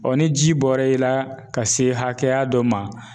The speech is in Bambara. ni ji bɔra i la ka se hakɛya dɔ ma.